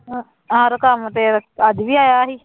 ਆਹੋ ਕੰਮ ਤੇ ਅੱਜ ਵੀ ਆਇਆ ਸੀ